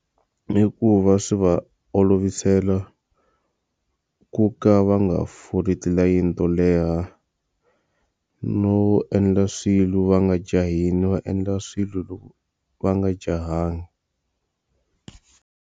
I ku va swi va olovisela ku ka va nga foli tilayini to leha, no endla swilo va nga jahile va endla swilo loko va nga jahanga.